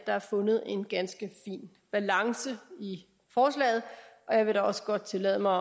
er fundet en ganske fin balance i forslaget og jeg vil da også godt tillade mig